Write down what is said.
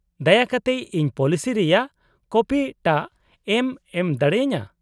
-ᱫᱟᱭᱟ ᱠᱟᱛᱮᱫ ᱤᱧ ᱯᱚᱞᱤᱥᱤ ᱨᱮᱭᱟᱜ ᱠᱚᱯᱤ ᱴᱟᱜ ᱮᱢ ᱮᱢ ᱫᱟᱲᱮ ᱟᱹᱧᱟᱹ ?